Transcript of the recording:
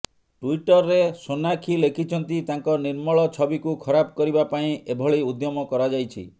ଟୁଇଟରରେ ସୋନାକ୍ଷୀ ଲେଖିଛନ୍ତି ତାଙ୍କ ନିର୍ମଳ ଛବିକୁ ଖରାପ କରିବା ପାଇଁ ଏଭଳି ଉଦ୍ୟମ କରାଯାଇଛି